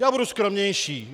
Já budu skromnější.